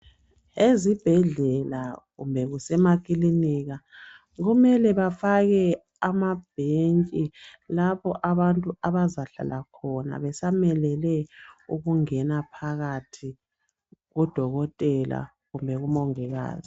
ezibhedlela kumbe kusemakilinika kumele bafake amabhentshi lapho abantu abazahlala khona besamelele ukungana phakathi kudokotela kumbe kumongikazi